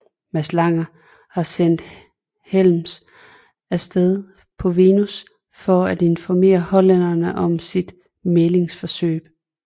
Mads Lange havde sendt Helms af sted på Venus for at informere hollænderne om sit mæglingsforsøg